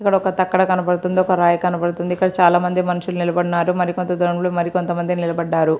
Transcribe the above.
ఇక్కడ ఒక తక్కెడ కనబడుతుంది. ఒక రాయి కనబడుతుంది. ఇక్కడ చాలా మంది మనుషులు నిలబడినారు. మరి కొంత దూరం లో మరికొంత మంది నిలబడిన్నారు.